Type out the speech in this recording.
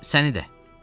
Səni də.